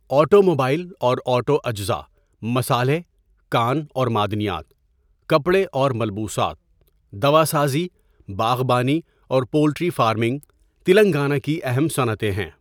Automobile اور auto اجزا، مصالحے، کان اور معدنیات، کپڑے اور ملبوسات، دوا سازی، باغبانی اور پولٹری فارمنگ تلنگانہ کی اہم صنعتیں ہیں۔